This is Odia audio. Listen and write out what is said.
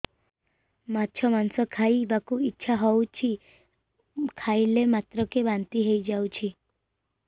ମାଛ ମାଂସ ଖାଇ ବାକୁ ଇଚ୍ଛା ହଉଛି ଖାଇଲା ମାତ୍ରକେ ବାନ୍ତି ହେଇଯାଉଛି